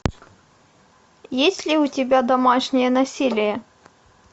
есть ли у тебя домашнее насилие